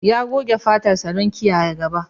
Ya goge fatarsa da soso don kiyaye ta.